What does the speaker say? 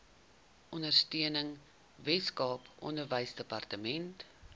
ondersteuning weskaap onderwysdepartement